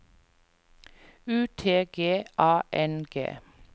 U T G A N G